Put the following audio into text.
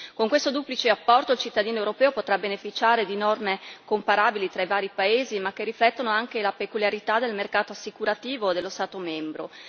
Con questo duplice apporto il cittadino europeo potrà beneficiare di norme comparabili tra i vari paesi ma che riflettono anche la peculiarità del mercato assicurativo dello Stato membro.